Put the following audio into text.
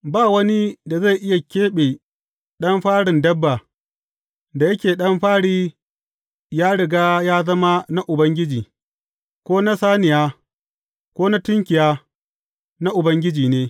Ba wani da zai iya keɓe ɗan farin dabba, da yake ɗan fari ya riga ya zama na Ubangiji, ko na saniya, ko na tunkiya, na Ubangiji ne.